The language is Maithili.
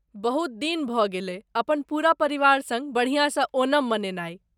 बहुत दिन भऽ गेलय अपन पूरा परिवार सङ्ग बढ़ियासँ ओणम मनेनाई ।